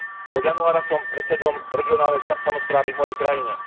Od januára som predsedom regionálnej samosprávy v mojej krajine.